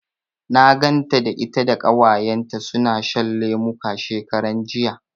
Na ganta da ita da Ƙawayenta suna shan lemuka, shekaran jiya.